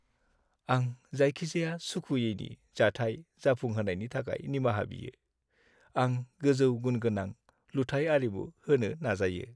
आं जायखिजाया सुखुयैनि जाथाय जाफुंहोनायनि थाखाय निमाहा बियो, आं गोजौ-गुनगोनां लुथायआरिमु होनो नाजायो।